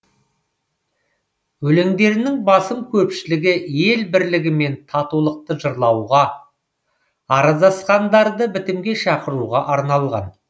өлеңдерінің басым көпшілігі ел бірлігі мен татулықты жырлауға араздасқандарды бітімге шақыруға арналған